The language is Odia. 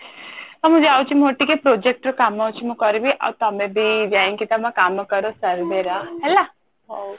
ହଉ ମୁଁ ଯାଉଛି ମୋର ଟିକେ project ର କାମ ଅଛି ମୁଁ କରିବି ଆଉ ତମେ ବି ଯାଇକି ତମ କାମ କର ଚାଲିଲି ହେଲା